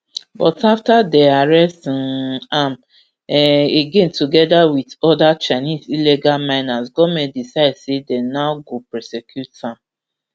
but afta dey arrest um am um again together wit oda chinese illegal miners goment decide say dey now go prosecute am